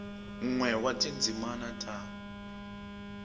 n we wa tindzimi ta